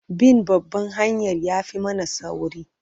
Bin babban hanyar ya fi mana sauri.